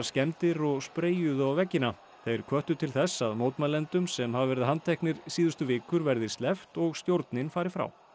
skemmdir og á veggina þeir hvöttu til þess að mótmælendum sem hafa verið handteknir síðustu vikur verði sleppt og stjórnin fari frá